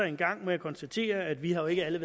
en gang må jeg konstatere at vi jo ikke alle